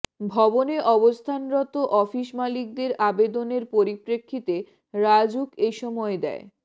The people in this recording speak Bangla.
ভবনে অবস্থানরত অফিস মালিকদের আবেদনের পরিপ্রেক্ষিতে রাজউক এ সময় দেয়